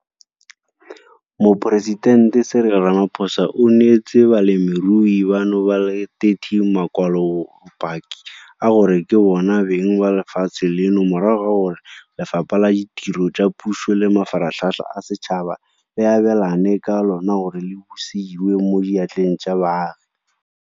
Moporesitente Cyril Ramaphosa o neetse balemirui bano ba le 30 makwalobopaki a gore ke bona beng ba lefatshe leno morago ga gore Lefapha la Ditiro tsa Puso le Mafaratlhatlha a Setšhaba le abelane ka lona gore le busediwe mo diatleng tsa baagi.